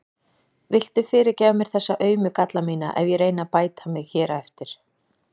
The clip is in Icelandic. Viltu fyrirgefa mér þessa aumu galla mína ef ég reyni að bæta mig hér eftir?